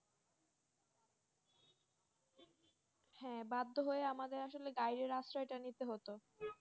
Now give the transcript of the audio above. হ্যাঁ বাধ্য হয়ে আমাদের আসলে Guide এর আশ্রয়টা নিতে হতো